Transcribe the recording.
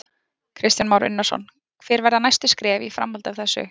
Kristján Már Unnarsson: Hver verða næstu skref í framhaldi af þessu?